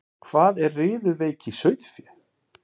Hvað er riðuveiki í sauðfé?